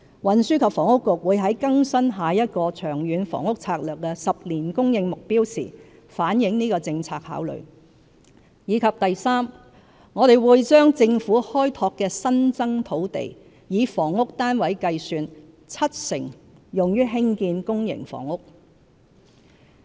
運輸及房屋局會在更新下一個《長遠房屋策略》的10年供應目標時反映這個政策考慮；及3我們會把政府開拓的新增土地，以房屋單位計算，七成用於興建公營房屋。